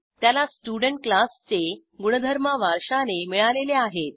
त्याला स्टुडेंट क्लासचे गुणधर्म वारशाने मिळालेले आहेत